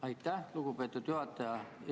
Aitäh, lugupeetud juhataja!